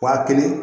Wa kelen